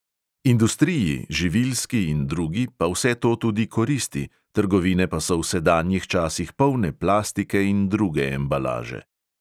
Industriji, živilski in drugi, pa vse to tudi koristi, trgovine pa so v sedanjih časih polne plastike in druge embalaže.